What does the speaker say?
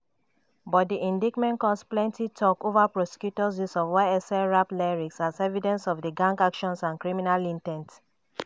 but di indictment cause plenty talk over prosecutors use of ysl rap lyrics as evidence of di gang actions and criminal in ten t.